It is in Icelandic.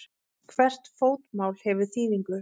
Hvert fótmál hefur þýðingu.